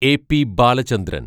A P Balachandran